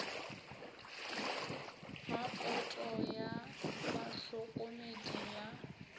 ga poto ya bahlokomedi ya